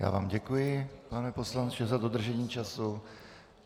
Já vám děkuji, pane poslanče, za dodržení času.